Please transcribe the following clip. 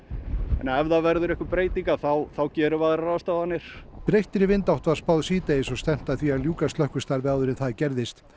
en ef það verður einhver breyting þá gerum við aðrar ráðstafanir breyttri vindátt var spáð síðdegis og stefnt að því að ljúka slökkvistarfi áður en það gerðist